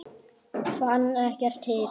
Fann ekkert til.